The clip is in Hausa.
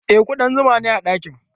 E, kuɗan zuma na gani a ɗakin.